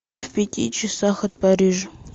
в пяти часах от парижа